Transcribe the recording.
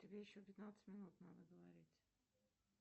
тебе еще пятнадцать минут надо говорить